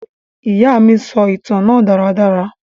Ìya mi sọ ìtan náà daradara.